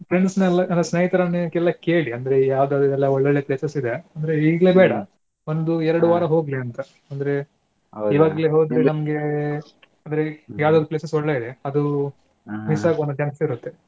Friends ನೆಲ್ಲಾ ಅಂದ್ರೆ ಸ್ನೇಹಿತರನ್ನ ಕೇಳಿ ಅಂದ್ರೆ ಯಾವ್ದು ಒಳ್ಳೊಳ್ಳೆ places ಇದೆ ಅಂದ್ರೆ ಇಗ್ಲೇ ಬೇಡಾ ಒಂದು ಎರ್ಡ್ ವಾರ ಹೋಗ್ಲಿ ಅಂತ ಅಂದ್ರೆ ಇವಾಗ್ಲೆ ಹೋದ್ರೆ ನಮ್ಗೆ ಅಂದ್ರೆ ಯವದಾದ್ರೂ places ಒಳ್ಳೆದಿದೆ ಅದು miss ಆಗೋ chance ಇರುತ್ತೆ.